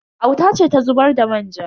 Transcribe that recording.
Auta ce ta zubar da manja.